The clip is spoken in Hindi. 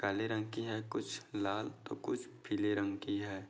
काले रंग की है कुछ लाल तो कुछ पीले रंग की है।